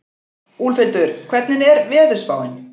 Úlfhildur, hvernig er veðurspáin?